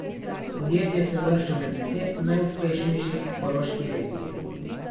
Podjetje se uvršča med deset najuspešnejših v Koroški regiji.